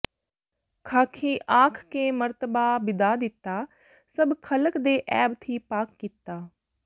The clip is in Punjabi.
ਖ਼ਾਕੀ ਆਖ ਕੇ ਮਰਤਬਾ ਬਿਦਾ ਦਿੱਤਾ ਸਭ ਖ਼ਲਕ ਦੇ ਐਬ ਥੀਂ ਪਾਕ ਕੀਤਾ